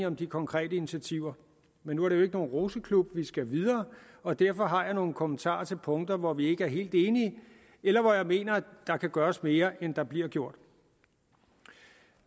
om de konkrete initiativer men nu er det jo ikke nogen roseklub vi skal videre og derfor har jeg nogle kommentarer til punkter hvor vi ikke er helt enige eller hvor jeg mener at der kan gøres mere end der bliver gjort